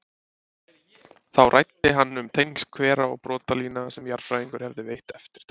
Þá ræddi hann um tengsl hvera og brotlína sem jarðfræðingar hefðu veitt eftirtekt.